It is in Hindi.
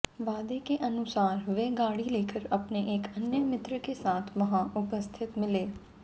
वादे के अनुसार वे गाड़ी लेकर अपने एक अन्य मित्र के साथ वहाँ उपस्थित मिले